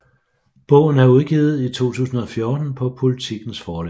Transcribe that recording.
Bogen er udgivet i 2014 på Politikens forlag